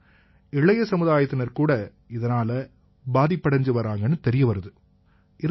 ஆனா இளைய சமுதாயத்தினர்கூட இதனால பாதிப்படைஞ்சு வர்றாங்கன்னு தெரிய வருது